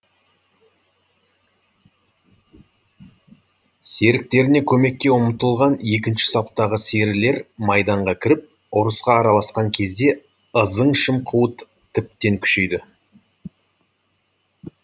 серіктеріне көмекке ұмтылған екінші саптағы серілер майданға кіріп ұрысқа араласқан кезде ызың шымқуыт тіптен күшейді